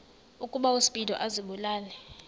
ukuba uspido azibulale